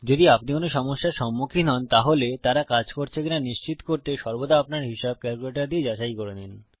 যদি আপনি কোন সমস্যার সম্মুখীন হন তাহলে তারা কাজ করছে কিনা নিশ্চিত করতে সর্বদা আপনার হিসাব ক্যালকুলেটর দিয়ে যাচাই করে নিন